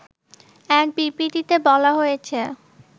এক বিবৃতিতে বলা হয়েছে